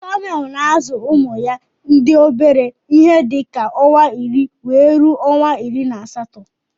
Kamel na azu ụmụya ndi obere ihe dika onwa iri wee ruọ onwa iri na asatọ